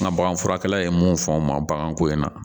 N ka baganfurakɛla ye mun fɔ n ma baganko in na